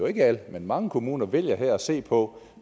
ikke alle men mange kommuner her vælger at se på